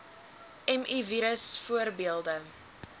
mi virus voorbeelde